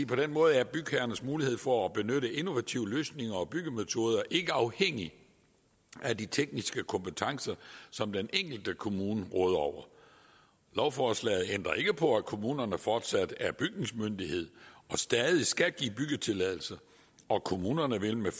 på den måde er bygherrernes mulighed for at benytte innovative løsninger og byggemetoder ikke afhængig af de tekniske kompetencer som den enkelte kommune råder over lovforslaget ændrer ikke på at kommunerne fortsat er bygningsmyndighed og stadig skal give byggetilladelse og kommunerne vil med